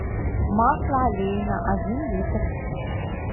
масло олейна один литр